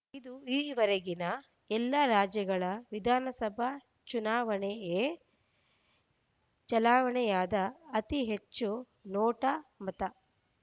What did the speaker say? ಇದು ಇದುವರೆಗೆನ ಎಲ್ಲಾ ರಾಜ್ಯಗಳ ವಿಧಾನಸಭಾ ಚುನಾವಣೆಯಲ್ಲಿಯೇ ಚಲಾವಣೆಯಾದ ಅತಿ ಹೆಚ್ಚು ನೋಟಾ ಮತ